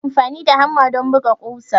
Ana amfani da hamma don buga ƙusa.